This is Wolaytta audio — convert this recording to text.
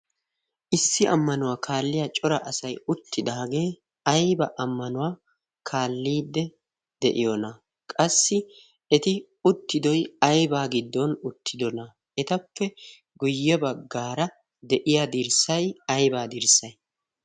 issi ammanuwaa kaalliya cora asai uttidaagee aiba ammanuwaa kaalliide de'iyoona qassi eti uttidoy aybaa giddon uttidoona etappe guyye baggaara de'iya dirssay aybaa dirssay?